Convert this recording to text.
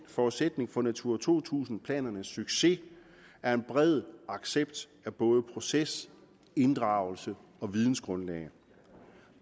forudsætning for natura to tusind planernes succes er en bred accept af både proces inddragelse og vidensgrundlag